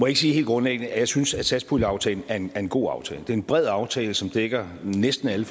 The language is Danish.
ikke sige helt grundlæggende at jeg synes at satspuljeaftalen er en god aftale det er en bred aftale som dækker næsten alle